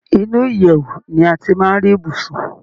Inú ìyèwù ni a ti máa ń rí ibùsùn.